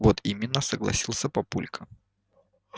вот именно согласился папулька